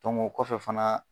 kɔfɛ fana